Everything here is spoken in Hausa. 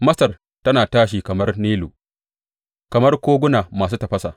Masar tana tashi kamar Nilu, kamar koguna masu tafasa.